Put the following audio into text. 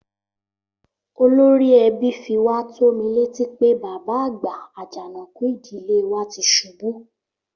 Olórí ẹbí fi wá tó mi létí pé bàbá àgbà, Àjànàkú ìdílé wa ti ṣubú